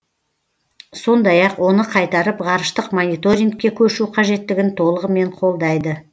сондай ақ оны қайтарып ғарыштық мониторингке көшу қажеттігін толығымен қолдайды